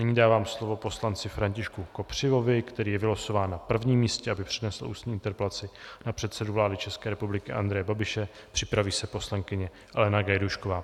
Nyní dávám slovo poslanci Františku Kopřivovi, který je vylosován na prvním místě, aby přinesl ústní interpelaci na předsedu vlády České republiky Andreje Babiše, připraví se poslankyně Alena Gajdůšková.